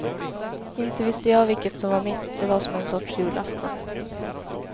Inte visste jag vilket som var mitt, det var som en sorts julafton.